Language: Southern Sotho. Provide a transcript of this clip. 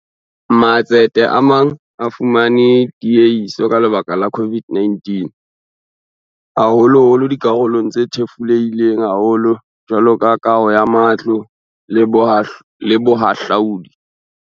Matsete a mang a fumane tiehiso ka lebaka la COVID-19, haholoholo dikarolong tse thefulehileng haholo jwalo ka kaho ya matlo le bohahlaodi.